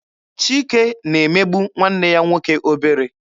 Chike na-emegbu nwanne ya nwoke obere.